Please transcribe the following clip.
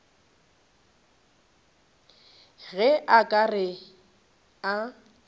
ge a ka re a